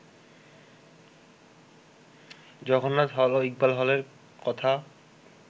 Jagannath hall ও ইকবাল হলের কথা